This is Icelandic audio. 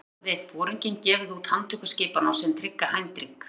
Þá hafði foringinn gefið út handtökuskipun á sinn trygga Heinrich